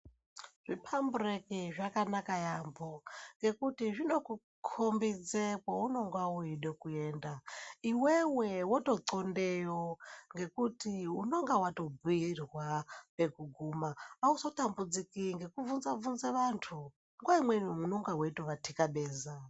Zvipambureki zvakanaka yaampo ngekuti zvino kukombidze kweunenga weide kuenda iwewe wototlondeyo ngekuti unenga wayo bhiirwa pekuguma auzota mbudziki ngekubvunza bvunza vantu nguwa imweni unenga weito vatikabeza.